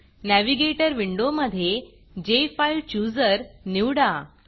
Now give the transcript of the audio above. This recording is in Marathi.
Navigatorनॅविगेटर विंडोमधे जेफाईलचूजर निवडा